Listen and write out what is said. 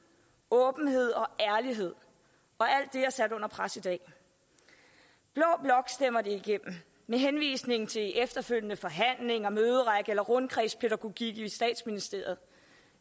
åbenhed og ærlighed og alt det er sat under pres i dag blå blok stemmer det igennem med henvisning til efterfølgende forhandlinger møderække eller rundkredspædagogik i statsministeriet